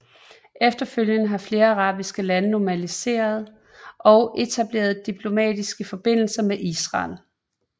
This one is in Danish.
Efterfølgende har flere arabiske lande normaliseret og etableret diplomatiske forbindelser med Israel